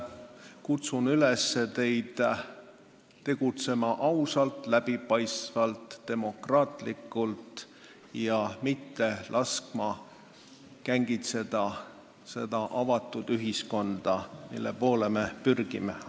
Kutsun teid üles tegutsema ausalt, läbipaistvalt, demokraatlikult ja mitte laskma kängitseda seda avatud ühiskonda, mille poole me pürgime!